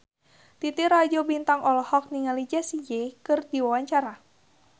Titi Rajo Bintang olohok ningali Jessie J keur diwawancara